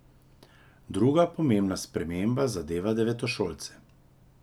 Druga pomembna sprememba zadeva devetošolce.